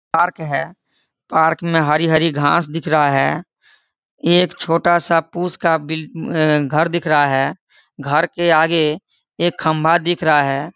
Park है park में हरी- हरी घास दिख रहा है एक छोटा सा पुश का घर दिख रहा है घर के आगे एक खंबा दिख रहा है।